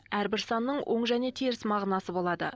әрбір санның оң және теріс мағынасы болады